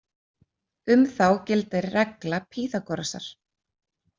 Um þá gildir regla Pýþagórasar.